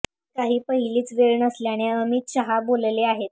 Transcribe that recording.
ही काही पहिलीच वेळ नसल्याचे अमित शहा बोलले आहेत